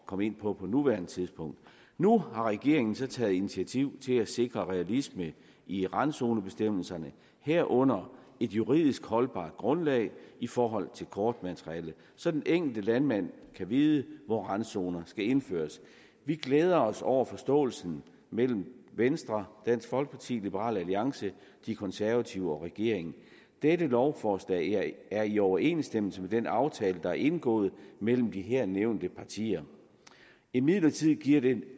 komme ind på på nuværende tidspunkt nu har regeringen så taget initiativ til at sikre realisme i randzonebestemmelserne herunder et juridisk holdbart grundlag i forhold til kortmateriale så den enkelte landmand kan vide hvor randzonerne skal indføres vi glæder os over forståelsen mellem venstre dansk folkeparti liberal alliance de konservative og regeringen dette lovforslag er i overensstemmelse med den aftale der er indgået mellem de her nævnte partier imidlertid giver det